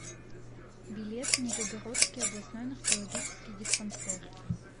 билет нижегородский областной наркологический диспансер